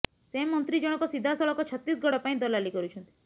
ସେ ମନ୍ତ୍ରୀ ଜଣକ ସିଧାସଳଖ ଛତିଶଗଡ଼ ପାଇଁ ଦଲାଲି କରୁଛନ୍ତି